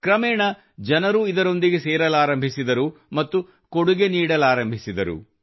ಕ್ರಮೇಣ ಜನರು ಇದರೊಂದಿಗೆ ಸೇರಲಾರಂಭಿಸಿದರು ಮತ್ತು ಕೊಡುಗೆ ನೀಡಲಾರಂಬಿಸಿದರು